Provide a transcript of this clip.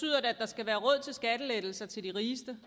og til skattelettelser til de rigeste